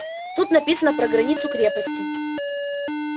тут написано про границу крепости